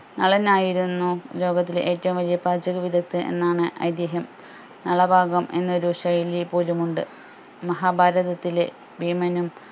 നളൻ ആയിരുന്നു ലോകത്തിലെ ഏറ്റവും വലിയ പാചക വിദക്തൻ എന്നാണ് ഐതിഹ്യം നളഭാഗം എന്നൊരു ശൈലി പോലുമുണ്ട് മഹാഭാരതത്തിലെ ഭീമനും